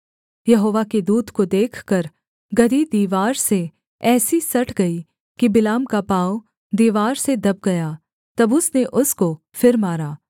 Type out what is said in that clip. यहोवा के दूत को देखकर गदही दीवार से ऐसी सट गई कि बिलाम का पाँव दीवार से दब गया तब उसने उसको फिर मारा